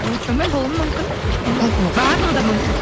очумен болуы мүмкін барлығы да болуы мүмкін